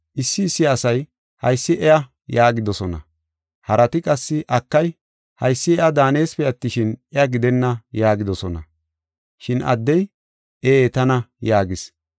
Issi issi asay, “Haysi iya” yaagidosona. Harati qassi, “Akay, haysi iya daaneesipe attishin, iya gidenna” yaagidosona. Shin addey, “Ee, tana” yaagis.